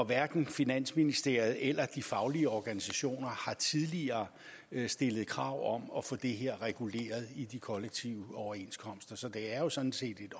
hverken finansministeriet eller de faglige organisationer har tidligere stillet krav om at få det her reguleret i de kollektive overenskomster så det er jo sådan set et